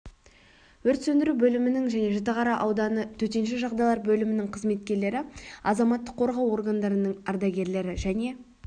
өрт сөндіру бөлімінің және жітіқара ауданы төтенше жағдайлар бөлімінің қызметкерлері азаматтық қорғау органдарының ардагерлері және